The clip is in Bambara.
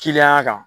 Kiliya kan